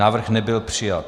Návrh nebyl přijat.